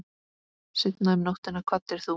Seinna um nóttina kvaddir þú.